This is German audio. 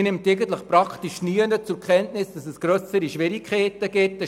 Man nimmt fast nirgends grössere Schwierigkeiten zur Kenntnis.